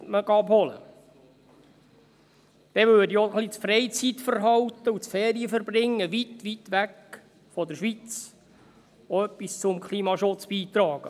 Dann trüge auch das Freizeitverhalten und Ferienverbringen weit, weit weg von der Schweiz etwas zum Klimaschutz bei.